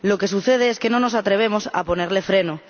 Lo que sucede es que no nos atrevemos a ponerle freno.